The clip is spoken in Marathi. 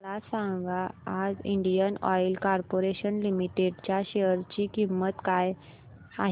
मला सांगा आज इंडियन ऑइल कॉर्पोरेशन लिमिटेड च्या शेअर ची किंमत काय आहे